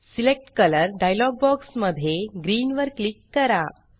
select colour dialog box मध्ये green वर click करा